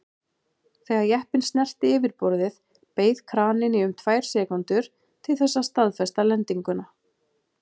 Þegar jeppinn snerti yfirborðið beið kraninn í um tvær sekúndur til þess að staðfesta lendinguna.